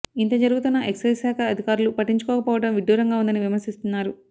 ఇంత జరుగుతున్నా ఎక్సైజ్ శాఖ అధికారులు పట్టించుకోక పోవడం విడ్డూరంగా ఉందని విమర్శిస్తున్నారు